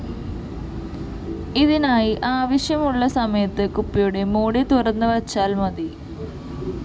ഇതിനായി ആവശ്യമുള്ള സമയത്ത് കുപ്പിയുടെ ലിഡ്‌ തുറന്ന് വച്ചാല്‍ മതി